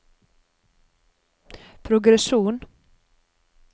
progresjon